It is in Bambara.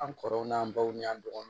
An kɔrɔw n'an baw ni an dɔgɔninw